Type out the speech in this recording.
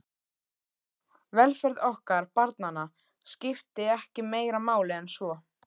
Velferð okkar barnanna skipti ekki meira máli en svo.